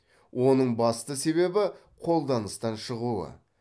оның басты себебі қолданыстан шығуы